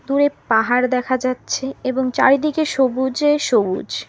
উপরে পাহাড় দেখা যাচ্ছে এবং চারিদিকে সবুজে সবুজ।